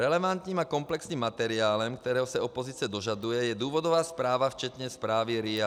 Relevantním a komplexním materiálem, kterého se opozice dožaduje, je důvodová zpráva včetně zprávy RIA.